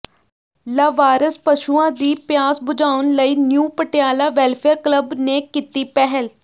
ਲਾਵਾਰਸ ਪਸ਼ੂਆਂ ਦੀ ਪਿਆਸ ਬੁਝਾਉਣ ਲਈ ਨਿਊ ਪਟਿਆਲਾ ਵੈੱਲਫੇਅਰ ਕਲੱਬ ਨੇ ਕੀਤੀ ਪਹਿਲ